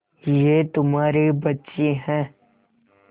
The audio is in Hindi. ये तुम्हारे बच्चे हैं